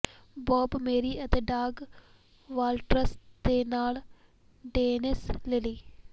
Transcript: Bob Massie ਅਤੇ Doug Walters ਦੇ ਨਾਲ ਡੇਨਿਸ ਲਿਲੀ